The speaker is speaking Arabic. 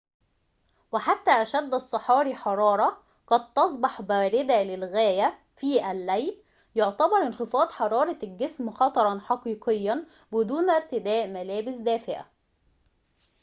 وحتى أشد الصحاري حرارة قد تصبح باردة للغاية في الليل يعتبر انخفاض حرارة الجسم خطراً حقيقياً بدون ارتداء ملابس دافئة